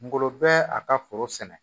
Kunkolo bɛ a ka foro sɛnɛ